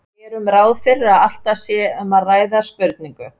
Gerum ráð fyrir að alltaf sé um að ræða spurningu.